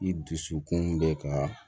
I dusukun bɛ ka